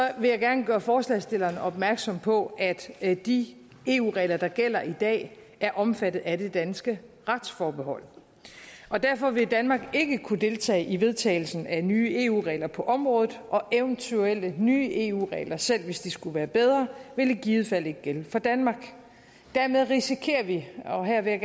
vil jeg gerne gøre forslagsstillerne opmærksomme på at de eu regler der gælder i dag er omfattet af det danske retsforbehold derfor vil danmark ikke kunne deltage i vedtagelsen af nye eu regler på området og eventuelle nye eu regler selv hvis de skulle være bedre vil i givet fald ikke gælde for danmark dermed risikerer vi og her vil jeg